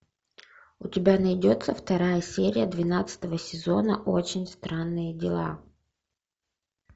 у тебя найдется вторая серия двенадцатого сезона очень странные дела